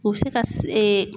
U bɛ se ka